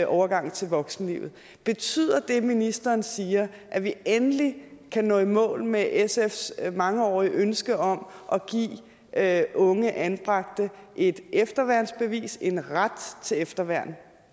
overgang til voksenlivet betyder det ministeren siger at vi endelig kan nå i mål med sfs mangeårige ønske om at unge anbragte et efterværnsbevis en ret til efterværn